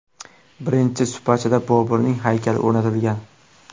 Birinchi supachada Boburning haykali o‘rnatilgan.